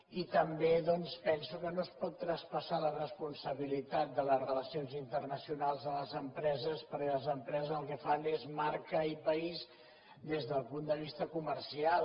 i també doncs penso que no es pot traspassar la responsabilitat de les relacions internacionals a les empreses perquè les empreses el que fan és marca i país des del punt de vista comercial